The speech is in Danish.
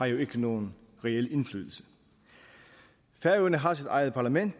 jo ikke nogen reel indflydelse færøerne har sit eget parlament